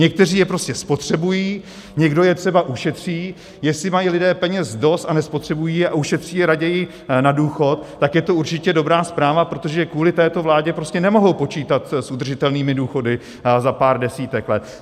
Někteří je prostě spotřebují, někdo je třeba ušetří, jestli mají lidé peněz dost a nespotřebují je a ušetří je raději na důchod, tak je to určitě dobrá zpráva, protože kvůli této vládě prostě nemohou počítat s udržitelnými důchody za pár desítek let.